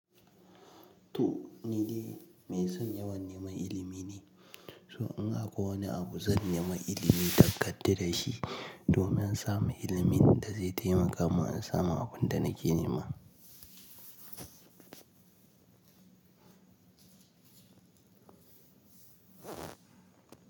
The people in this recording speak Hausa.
To, ni dai mai son yawan neman ilimi ne, so in akwai wani abu zan nema ilimi da kadaran shi domin samu ilimin da zai taimaka mun in samu abunda nake nema.